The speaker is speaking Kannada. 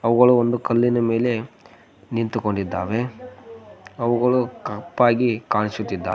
ಅವುಗಳು ಒಂದು ಕಲ್ಲಿನ ಮೇಲೆ ನಿಂತುಕೊಂಡಿದ್ದಾವೆ ಅವುಗಳು ಕಪ್ಪಾಗಿ ಕಾಣಿಸುತ್ತಿದ್ದಾವೆ.